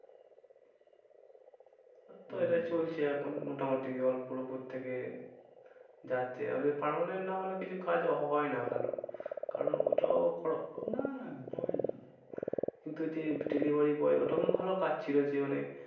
এটাই চলছে এখন মোটামুটি অল্পর ওপর থেকে যাচ্ছে। permanent না হলে কিছু কাজ হয় না ভালো। কারণ ওটাও না না হয় না কিন্তু ওই যে delivery boy ওটাও ভালো কাজ ছিল যে মানে